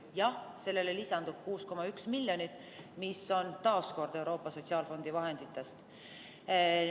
Jah, sellele lisandub 6,1 miljonit eurot, aga see tuleb taas kord Euroopa Sotsiaalfondi vahenditest.